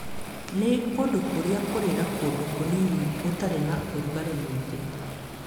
Nĩ kũndũ kũrĩa kũrĩ na kũndũ kũnini gũtarĩ na ũrugarĩ mũingĩ.